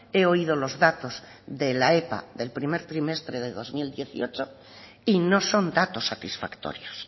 he oído los datos de la epa del primer trimestre de dos mil dieciocho y no son datos satisfactorios